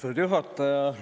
Austatud juhataja!